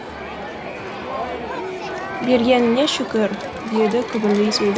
бергеніңе шүкір деді күбірлей сөйлеп